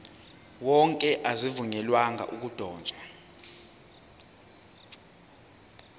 wonke azivunyelwanga ukudotshwa